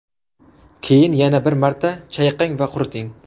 Keyin yana bir marta chayqang va quriting.